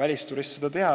välisturist seda teab.